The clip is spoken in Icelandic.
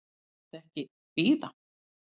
Má þetta þá ekki bíða?